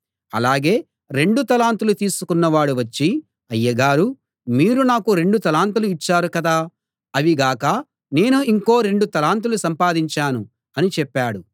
అలాగే రెండు తలాంతులు తీసుకున్న వాడు వచ్చి అయ్యగారూ మీరు నాకు రెండు తలాంతులు ఇచ్చారు కదా అవి గాక నేను ఇంకో రెండు తలాంతులు సంపాదించాను అని చెప్పాడు